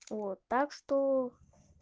вот так что